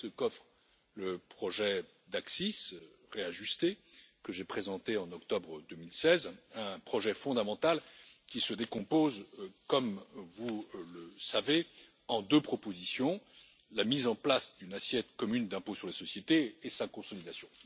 C'est ce qu'offre le projet d'ACCIS réajusté que j'ai présenté en octobre 2016, un projet fondamental qui se décompose, comme vous le savez, en deux propositions la mise en place d'une assiette commune pour l'impôt sur les sociétés et sa consolidation.